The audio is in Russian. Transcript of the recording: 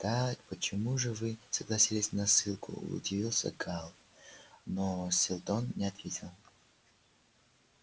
тогда почему же вы согласились на ссылку удивился гаал но сэлдон не ответил